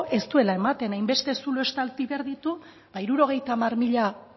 ez duela ematen hainbeste zulo estali behar ditu eta hirurogeita hamar mila